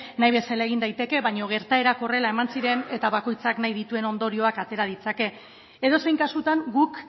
nahi bezala egin daiteke baina gertaerak horrela eman ziren eta bakoitzak nahi dituen ondorioak atera ditzake edozein kasutan guk